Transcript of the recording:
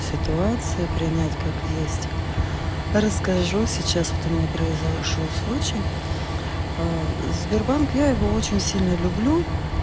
ситуация принять как есть расскажу сейчас вот у меня произошёл случай сбербанк я его очень сильно люблю